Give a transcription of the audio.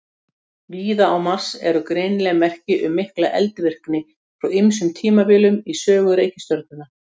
Víða á Mars eru greinileg merki um mikla eldvirkni frá ýmsum tímabilum í sögu reikistjörnunnar.